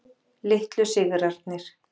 Litlu sigrarnir.